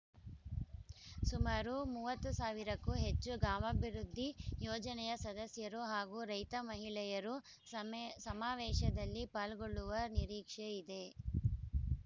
ಸುಮಾರು ಮೂವತ್ತು ಸಾವಿರಕ್ಕೂ ಹೆಚ್ಚು ಗಾಮಾಭಿವೃದ್ಧಿ ಯೋಜನೆಯ ಸದಸ್ಯರು ಹಾಗೂ ರೈತ ಮಹಿಳೆಯರು ಸಮೇ ಸಮಾವೇಶದಲ್ಲಿ ಪಾಲ್ಗೊಳ್ಳುವ ನಿರೀಕ್ಷೆ ಇದೆ